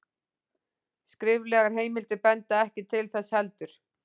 Skriflegar heimildir benda ekki til þess heldur.